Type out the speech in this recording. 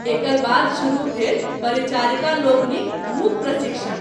एकर बाद शुरू भेल परिचारिका लोकनिक मूक प्रशिक्षण।